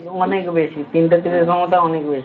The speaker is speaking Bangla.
অনেক বেশি তিনটে তীরের ক্ষমতা অনেক বেশি